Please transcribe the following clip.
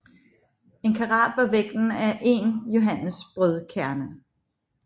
En karat var vægten af én johannesbrødkerne